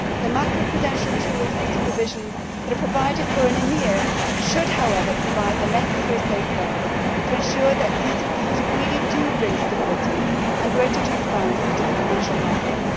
The macroprudential tools for supervision that are provided for in EMIR should, however, provide the necessary safeguards to ensure that CCPs really do bring stability and greater transparency to the financial markets.